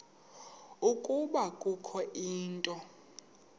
ukuba kukho into